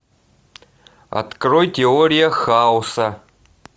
открой теория хаоса